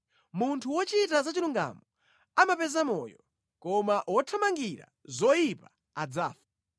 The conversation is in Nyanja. Munthu wochita za chilungamo amapeza moyo, koma wothamangira zoyipa adzafa.